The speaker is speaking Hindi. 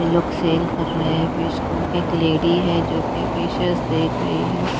ये लोग सेल कर रहे हैं बिस्कीट एक लेडी है जोकि देख रही है।